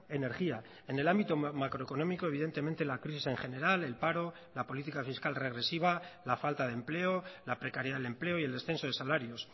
energía en el ámbito macroeconómico evidentemente la crisis en general el paro la política fiscal regresiva la falta de empleo la precariedad del empleo y el descenso de salarios